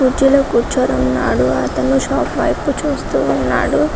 కుర్చీలో కూర్చోవడం కాదు అతను షాప్ వైపు చూస్తూ ఉన్నాడు